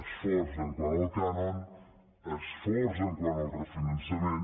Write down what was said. esforç quant al cànon esforç quant al refinançament